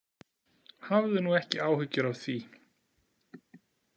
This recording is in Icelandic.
Hafðu nú ekki áhyggjur af því.